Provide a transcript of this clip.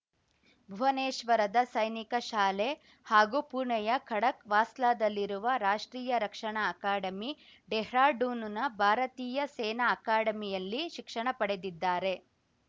ಭುವನೇಶ್ವರದ ಸೈನಿಕ ಶಾಲೆ ಹಾಗೂ ಪುಣೆಯ ಖಡಕ್‌ವಾಸ್ಲಾದಲ್ಲಿರುವ ರಾಷ್ಟ್ರೀಯ ರಕ್ಷಣಾ ಅಕಾಡೆಮಿ ಡೆಹ್ರಾಡೂನ್‌ನ ಭಾರತೀಯ ಸೇನಾ ಅಕಾಡೆಮಿಯಲ್ಲಿ ಶಿಕ್ಷಣ ಪಡೆದಿದ್ದಾರೆ